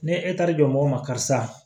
Ne e taar'i jɔ mɔgɔ ma karisa